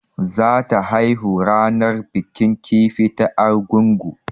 Za ta haihu ranar bikin kifi ta Argungu